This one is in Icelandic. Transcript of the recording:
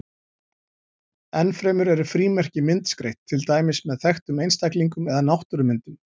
Enn fremur eru frímerki myndskreytt, til dæmis með þekktum einstaklingum eða náttúrumyndum.